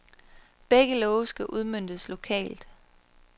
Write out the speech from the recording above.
Begge love skal udmøntes lokalt.